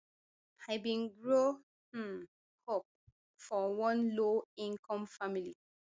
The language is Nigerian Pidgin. i bin grow um up for one lowincome family